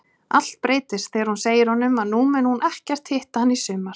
Allt breytist þegar hún segir honum að nú muni hún ekkert hitta hann í sumar.